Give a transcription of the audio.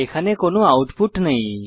এখানে কোনো আউটপুট নেই